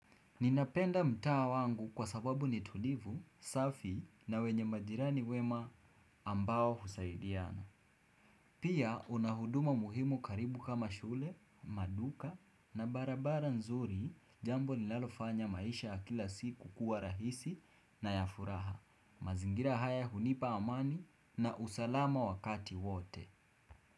Ninapenda mtaa wangu kwa sababu nitulivu, safi na wenye majirani wema ambao husaidiana. Pia una huduma muhimu karibu kama shule, maduka na barabara nzuri jambo nilalofanya maisha ya kila siku kuwa rahisi na ya furaha. Mazingira haya hunipa amani na usalama wakati wote.